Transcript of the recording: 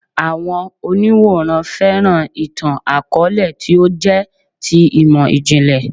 Àwọn òǹwòran fẹ́ràn ìtàn-àkọọ́lẹ̀ tí ó jẹ́ ti imọ-jinlẹ